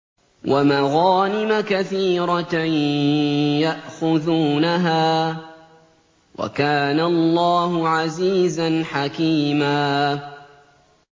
وَمَغَانِمَ كَثِيرَةً يَأْخُذُونَهَا ۗ وَكَانَ اللَّهُ عَزِيزًا حَكِيمًا